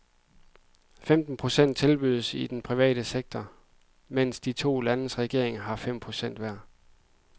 Femten procent tilbydes den private sektor, mens de to landes regeringer får fem procent hver.